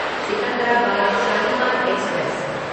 Secunderabad Shalimar express